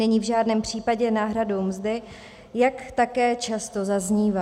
Není v žádném případě náhradou mzdy, jak také často zaznívá.